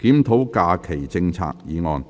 "檢討假期政策"議案。